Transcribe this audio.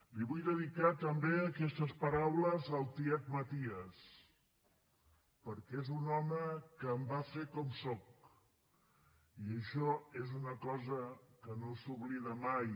li vull dedicar també aquestes paraules al tiet maties perquè és un home que em va fer com soc i això és una cosa que no s’oblida mai